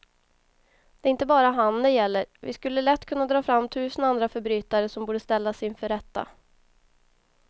Det är inte bara han det gäller, vi skulle lätt kunna dra fram tusen andra förbrytare som borde ställas inför rätta.